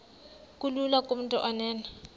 kulula kumntu onen